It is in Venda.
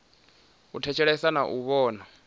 u thetshelesa na u vhona